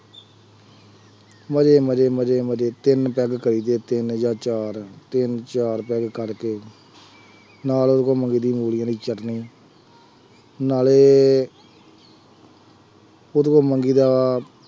ਮਜ਼ੇ ਮਜ਼ੇ ਮਜ਼ੇ ਮਜ਼ੇ ਤਿੰਨ ਪੈੱਗ ਕਰੀਦੇ, ਤਿੰਨ ਜਾਂ ਚਾਰ ਤਿੰਨ ਚਾਰ ਪੈੱਗ ਕਰਕੇ, ਨਾਲ ਉਹਦੇ ਕੋਲ ਮੰਗੀ ਦਾ ਆ ਹਰੀ ਵਾਲੀ ਚੱਟਨੀ ਨਾਲੇ ਉਹਦੇ ਕੋਲੋਂ ਮੰਗੀ ਦਾ ਵਾ,